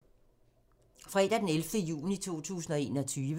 Fredag d. 11. juni 2021